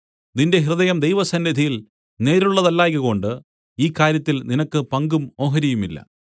നിന്റെ ഹൃദയം ദൈവസന്നിധിയിൽ നേരുള്ളതല്ലായ്കകൊണ്ട് ഈ കാര്യത്തിൽ നിനക്ക് പങ്കും ഓഹരിയുമില്ല